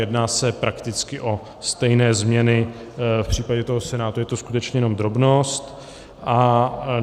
Jedná se prakticky o stejné změny, v případě toho Senátu je to skutečně jenom drobnost.